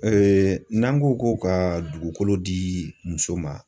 n'an ko ko ka dugukolo di muso ma